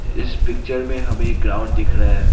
इस पिक्चर में हमें एक ग्राउंड दिख रहा है।